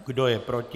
Kdo je proti?